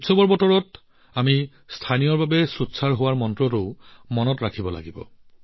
উদযাপনৰ সময়ত আমি ভোকেল ফৰ লোকলৰ মন্ত্ৰটোও মনত ৰাখিব লাগিব